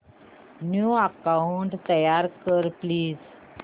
new account तयार कर please